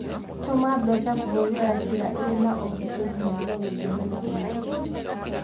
Tũma mbeca kũhũthira njĩra ĩrĩ na ũgitĩri nĩguo wĩtheme na ũici.